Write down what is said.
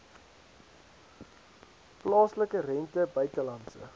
plaaslike rente buitelandse